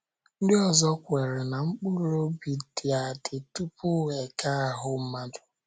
Ndị ọzọ kweere na mkpụrụ obi dị adị, tupu e kee ahụ́ mmadụ.